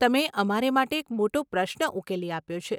તમે અમારે માટે એક મોટો પ્રશ્ન ઉકેલી આપ્યો છે.